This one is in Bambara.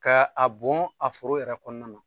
Ka a bon a foro yɛrɛ kɔnɔna na.